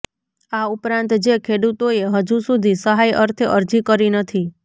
આ ઉપરાંત જે ખેડૂતોએ હજુ સુધી સહાય અર્થે અરજી કરી નથી